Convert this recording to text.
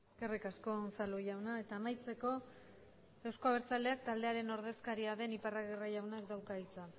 eskerrik asko unzalu jauna eta amaitzeko euzko abertzaleak taldearen ordezkaria den iparragirre jaunak dauka hitza